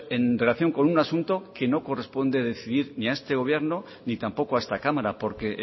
en relación con un asunto que no corresponde decidir a este gobierno ni tampoco a esta cámara porque